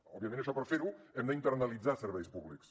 òbviament això per fer ho hem d’internalitzar serveis públics